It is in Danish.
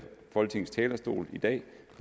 folketingets talerstol i dag